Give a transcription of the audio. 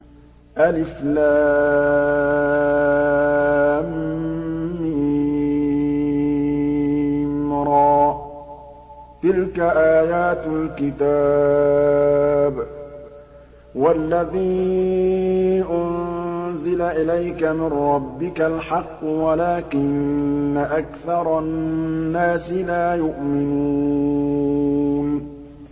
المر ۚ تِلْكَ آيَاتُ الْكِتَابِ ۗ وَالَّذِي أُنزِلَ إِلَيْكَ مِن رَّبِّكَ الْحَقُّ وَلَٰكِنَّ أَكْثَرَ النَّاسِ لَا يُؤْمِنُونَ